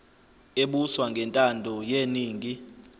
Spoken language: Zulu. ebuswa ngentando yeningi